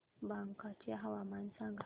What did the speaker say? बांका चे हवामान सांगा